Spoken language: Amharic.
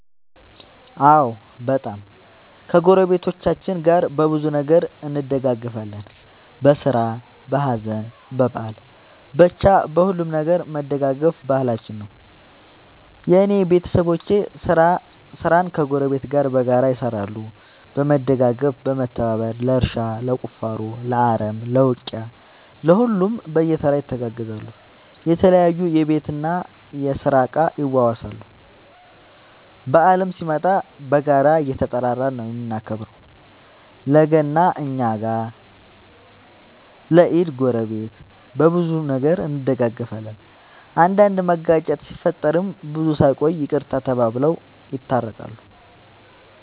አዎ በጣም ከ ጎረቤቶቻችን ጋር በብዙ ነገር እንደጋገፋለን በስራ በሀዘን በበአል በቻ በሁሉም ነገር መደጋገፍ ባህላችን ነው። የእኔ ቤተሰቦቼ ስራን ከ ጎረቤት ጋር በጋራ ይሰራሉ በመደጋገፍ በመተባበር ለእርሻ ለቁፋሮ ለአረም ለ ውቂያ ለሁሉም በየተራ ይተጋገዛሉ የተለያዩ የቤት እና የስራ እቃ ይዋዋሳሉ። በአልም ሲመጣ በጋራ እየተጠራራን ነው የምናከብረው ለ ገና እኛ ጋ ለ ኢድ ጎረቤት። በብዙ ነገር እንደጋገፋለን። አንዳንድ መጋጨት ሲፈጠር ብዙም ሳይቆዩ ይቅርታ ተባብለው የታረቃሉ።